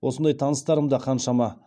осындай таныстарым да қаншама